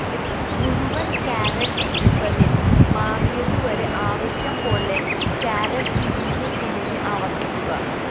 മുഴുവൻ കാരറ്റ് റിബണിൽ മാറിയതുവരെ ആവശ്യം പോലെ കാരറ്റ് തിരിഞ്ഞ് തിരിഞ്ഞ് ആവർത്തിക്കുക